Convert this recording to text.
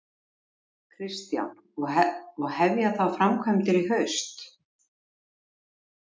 Kristján: Og hefja þá framkvæmdir í haust?